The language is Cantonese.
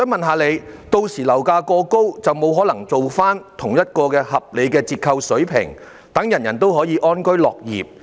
屆時如果樓價過高，便不可能提供同一個合理折扣水平，令所有人安居樂業。